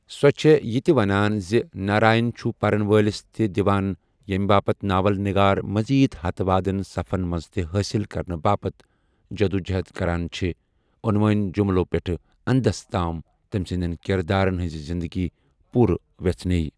سوٚ چھے یِتہِ ونان زِ ناراین چھُ پرن وٲلِس تہِ دِوان ییمہِ باپتھ ناول نِگار مزید ہتہٕ وادن صفن منز تہِ حٲصِل کرنہٕ باپتھ جدوجہدیہ کران چھِ ، عنوٲنی جُملوٚ پیٹھیہ اندس تام تمِ سٕندین کِردارن ہٕنزِ زِندگی پورٕ ویژھنیہ۔